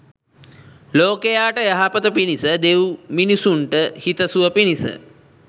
ලෝකයාට යහපත පිණිස, දෙව්මිනිසුන්ට හිතසුව පිණිස